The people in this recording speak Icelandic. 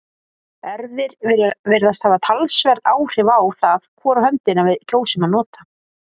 erfðir virðast hafa talsverð áhrif á það hvora höndina við kjósum að nota